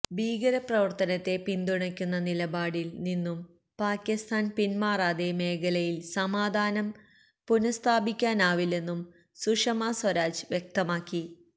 ഭീകര പ്രവര്ത്തനത്തെ പിന്തുണയ്ക്കുന്ന നിലപാടില് നിന്നും പാകിസ്ഥാന് പിന്മാറാതെ മേഖലയില് സമാധാനം പുനസ്ഥാപിക്കാനാവില്ലെന്നും സുഷമ സ്വരാജ് വ്യക്തമാക്കി